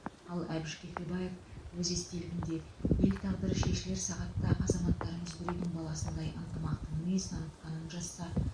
ал әбіш кекілбаев өз естелігінде ел тағдыры шешілер сағатта азаматтарымыз бір үйдің баласындай ынтымақты мінез танытқанын жазса